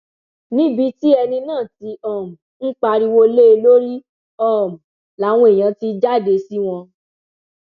níbi tí ẹni náà ti um ń pariwo lé e lórí um làwọn èèyàn ti jáde sí wọn